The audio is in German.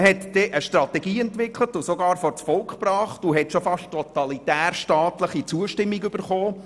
Man hat dann eine Strategie entwickelt, diese sogar vors Volk gebracht und von ihm beinahe totalitärstaatliche Zustimmung erhalten.